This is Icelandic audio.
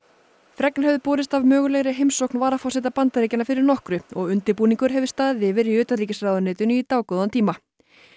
fregnir höfðu borist af mögulegri heimsókn varaforseta Bandaríkjanna fyrir nokkru og undirbúningur hefur staðið yfir í utanríkisráðuneytinu í dágóðan tíma